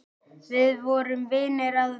Við vorum vinir að fornu.